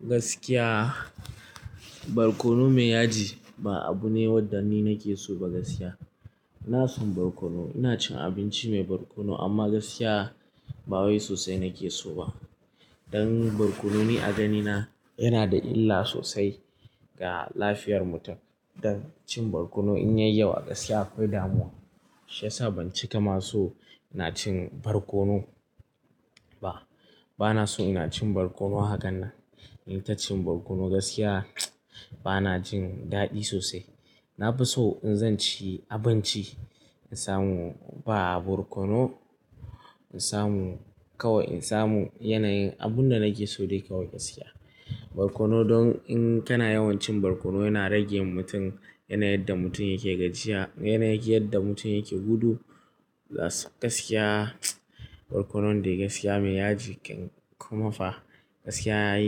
Gaskiya, barkono mai yaji ba abu ne wadda ni nake so ba gaskiya. Ina so barkono, ina cin abinci mai barkono amma gaskiya ba wai sosai nake so ba. Don barkono ni a ganina yana da illa sosai ga lafiyar mutum. Don cin barkono in yayi yawa gaskiya akwai damuwa. Shi yasa ban cika ma so ina cin barkono ba. Bana so ina cin barkono hakan nan. In ta cin barkono gaskiya bana jin daɗi sosai. Na fi so in zan ci abinci, in samu ba barkono, in samu kawai in samu yanayin abunda nake so dai kawai gaskiya. Barkono don in kana yawan cin barkono yana rage mutum yanayin yadda mutum yake gajiya, yanayi yadda mutum yake gudu. Gaskiya barkono dai gaskiya mai yaji kuma fa gaskiya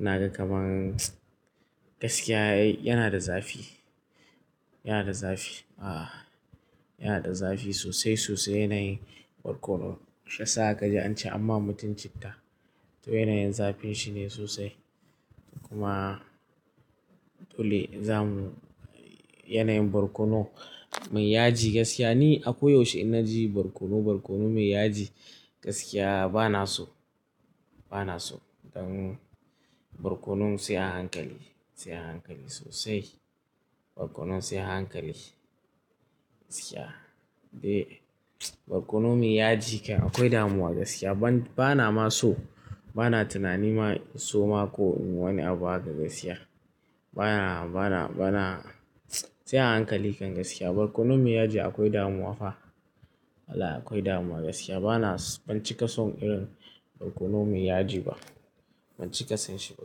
yana kama gaskiya yana da zafi, yana da zafi. Ah, yana da zafi sosai sosai yanayin barkono. Shi yasa ka ji an ci amma mutum ya ci ta. To yanayin zafin shine sosai. Kuma dole zamu yanayin barkono mai yaji gaskiya ni akwai yaushe ina ji barkono, barkono mai yaji gaskiya bana so, bana so. Don barkono sai a hankali, sai a hankali sosai. Barkono sai a hankali gaskiya. Dai barkono mai yaji akwai damuwa gaskiya. Bana ma so, bana tunani ma so ma ko wani abu hakan gaskiya. Bana, bana, bana, sai a hankali kan gaskiya. Barkono mai yaji akwai damuwa fa. Haka akwai damuwa gaskiya. Bana, ban cika son irin barkono mai yaji ba. Ban cika son shi ba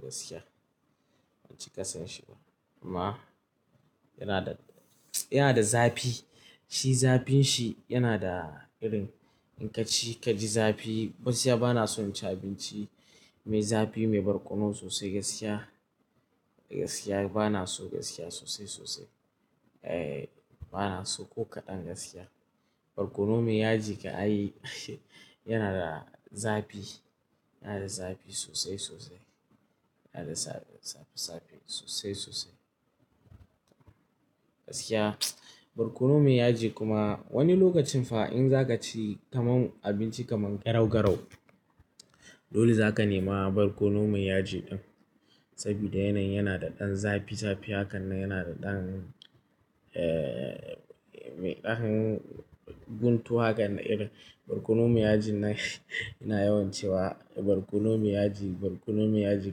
gaskiya. Ban cika son shi ba. Amma yana da, yana da zafi. Shi zafin shi yana da irin in ka ci ka ji zafi. Gaskiya bana so in ci abinci mai zafi, mai barkono sosai gaskiya. Gaskiya bana so gaskiya sosai sosai. Eh bana so ko kaɗan gaskiya. Barkono mai yaji ka a yi yana da zafi, yana da zafi sosai sosai. Yana da zafi zafi sosai sosai. Gaskiya barkono mai yaji kuma wani lokacin fa in za ka ci kamar abinci kamar garau garau, dole za ka nema barkono mai yaji ɗin. Saboda yanayi yana da ɗan zafi zafi hakan yana da ɗan eh mai ɗanin guntu hakan irin. Barkono mai yaji na yana yawan ciwa. Barkono mai yaji, barkono mai yaji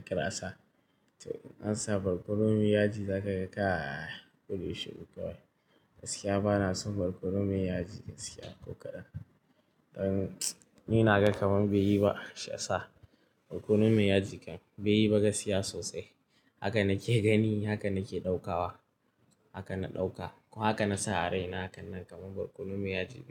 ƙirasa. To an sa barkono mai yaji za ka kai ka kullum shiru kawai. Gaskiya bana son barkono mai yaji gaskiya ko kaɗan. Don ni na ga kamar bai yi ba shi yasa. Barkono mai yaji bai yi ba gaskiya sosai. Haka nake gani, haka nake ɗaukawa. Haka na ɗauka. Haka na sa a raina hakan nan kamar barkono mai yaji bai yi ba.